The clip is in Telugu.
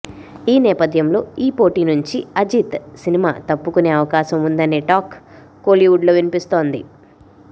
ఈ నేపథ్యంలో ఈ పోటీ నుంచి అజిత్ సినిమా తప్పుకునే అవకాశం ఉందనే టాక్ కోలీవుడ్లో వినిపిస్తోంది